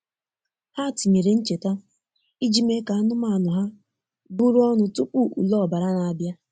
Ha tinyere ncheta iji mee ka anụmanụ ha bụrụ ọnụ tupu ule ọbara na-abịa.